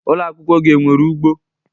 Ụlọ akwụkwọ gị enwere ugbo?